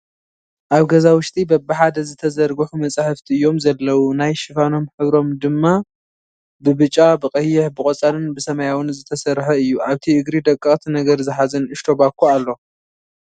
ኣብ ገዛ ውሽጢ በብሓደ ዝተዘርገሑ መፅሓፍቲ እዩም ዘለዉ ናይ ሽፋኖም ሕብሮም ድማ ብብጫ፣ ብቐይሕ፣ ብቖፃልን ብሰማያዊን ዝተሰርሓ እዩ ፡ ኣብቲ እግሪ ደቐቕቲ ነገር ዝሓ ንኡሽተ ባኮ ኣሎ ።